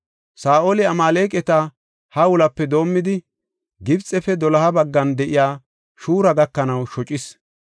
Saa7oli Amaaleqata Hawilape doomidi, Gibxefe doloha baggan de7iya Shuura gakanaw shocis.